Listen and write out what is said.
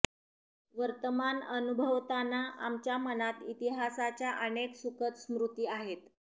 वर्तमान अनुभवताना आमच्या मनात इतिहासाच्या अनेक सुखद स्मृती आहेत